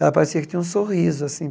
Ela parecia que tinha um sorriso, assim.